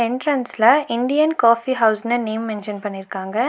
என்ட்ரன்ஸ்ல Indian coffee ஹவுஸ்னு name mention பண்ணிருக்காங்க.